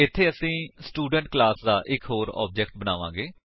ਇੱਥੇ ਅਸੀ student class ਦਾ ਇੱਕ ਹੋਰ ਆਬਜੇਕਟ ਬਣਾਵਾਂਗੇ